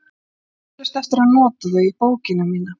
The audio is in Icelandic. Ég á því eflaust eftir að nota þau í bókina mína.